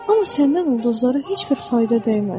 Amma səndən ulduzlara heç bir fayda dəyməz.